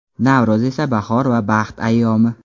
Navro‘z esa bahor va baxt ayyomi.